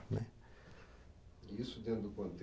Né E isso dentro do